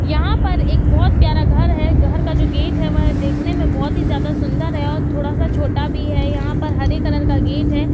यहां पर एक बहौत प्यारा घर है घर का जो गेट है वह देखने में बहौत ही ज्यादा सुन्दर है और थोड़ा स छोटा भी है यहां पर हरे कलर का गेट है।